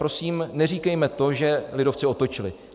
Prosím, neříkejme to, že lidovci otočili.